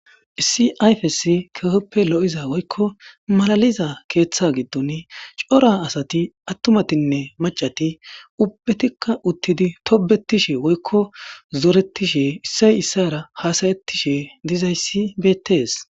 Issi ayfesi kehippe lo'iza woykko malaliza keeththa giddon cora asatti atumatine maccatti ubatikka uttid tobbetishe woykko zoret issay issara hassayetishe dizaysi bettes.